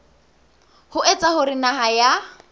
ho etsa hore naha ya